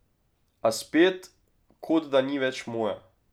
A spet, kot da ni več moja.